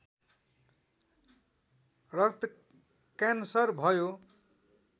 रक्तक्यान्सर भयो